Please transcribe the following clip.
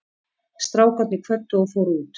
Strákarnir kvöddu og fóru út.